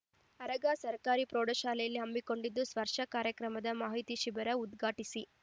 ಆರಗ ಸರ್ಕಾರಿ ಪ್ರೌಢಶಾಲೆಯಲ್ಲಿ ಹಮ್ಮಿಕೊಂಡಿದ್ದ ಸ್ಪರ್ಶ ಕಾರ್ಯಕ್ರಮದ ಮಾಹಿತಿ ಶಿಬಿರ ಉದ್ಘಾಟಿಸಿ